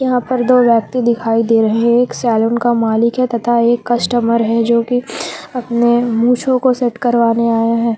यहां पर दो व्यक्ति दिखाई दे रहे एक सैलून का मालिक है तथा एक कस्टमर है जोकि अपने मूंछों को सेट करवाने आया है।